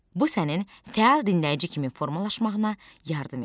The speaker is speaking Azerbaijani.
Bu sənin fəal dinləyici kimi formalaşmağına yardım edir.